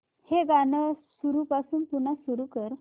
हे गाणं सुरूपासून पुन्हा सुरू कर